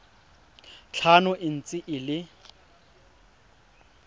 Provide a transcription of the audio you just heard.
tlhano e ntse e le